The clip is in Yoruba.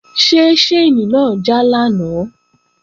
Ṣé ṣáìnì náà já lánàá?